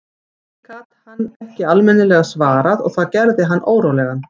Því gat hann ekki almennilega svarað og það gerði hann órólegan.